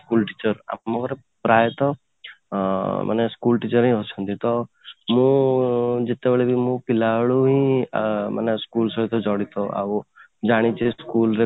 school teacher ଆମ ଘରେ ପ୍ରାୟତଃ ଅଂ ମାନେ school teacher ହିଁ ଅଛନ୍ତି ତ ମୁଁ ଯେତେବେଳେ ବି ମୁଁ ପିଲାବେଳେ ଆଁ ମାନେ school ସହିତ ଜଡିତ ଆଉ ଜାଣିଛି school ରେ